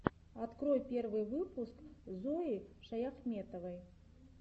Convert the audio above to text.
открой первый выпуск зои шаяхметовой